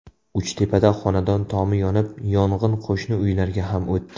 Uchtepada xonadon tomi yonib, yong‘in qo‘shni uylarga ham o‘tdi .